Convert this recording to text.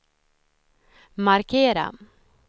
markera